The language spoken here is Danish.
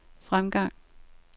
fremgang